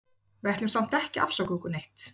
Við ætlum samt ekki að afsaka okkur neitt.